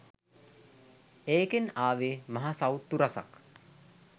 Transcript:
ඒකෙන් ආවේ මහ සවුත්තු රසක්